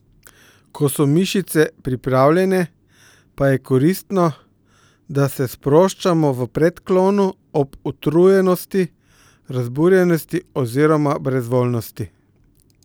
Ko so mišice pripravljene, pa je koristno, da se sproščamo v predklonu ob utrujenosti, razburjenosti oziroma brezvoljnosti.